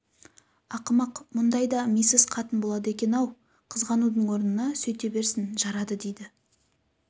ақымақ мұндай да мисыз қатын болады екен-ау қызғанудың орнына сөйте берсін жарады дейді